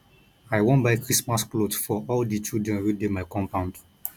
i wan buy christmas cloth for all di children wey dey my compound